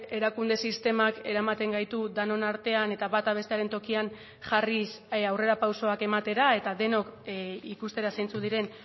erakunde sistemak eramaten gaitu denon artean eta bata bestearen tokian jarriz aurrerapausoak ematera eta denok ikustera zeintzuk diren